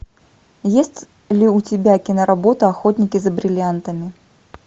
есть ли у тебя киноработа охотники за бриллиантами